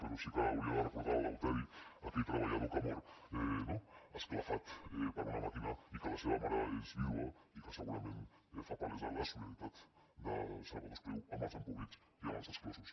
però sí que hauria de recordar l’eleuteri aquell treballador que mor no esclafat per una màquina i que la seva mare és vídua i que segurament fa palesa la solidaritat de salvador espriu amb els empobrits i amb els exclosos